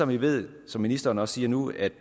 vi ved som ministeren også siger nu at